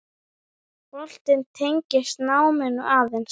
Boltinn tengist náminu aðeins.